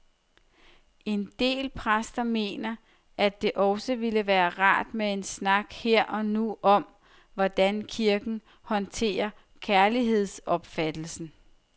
En del præster mener, at det også ville være rart med en snak her og nu om, hvordan kirken håndterer kærlighedsopfattelsen.